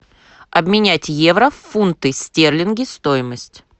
обменять евро в фунты стерлинги стоимость